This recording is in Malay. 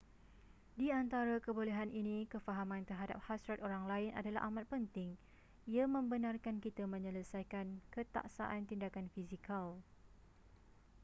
di antara kebolehan ini kefahaman terhadap hasrat orang lain adalah amat penting ia membenarkan kita menyelesaikan ketaksaan tindakan fizikal